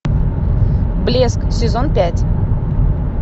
блеск сезон пять